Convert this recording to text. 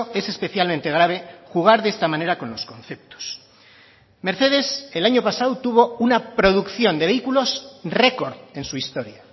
es especialmente grave jugar de esta manera con los conceptos mercedes el año pasado tuvo una producción de vehículos récord en su historia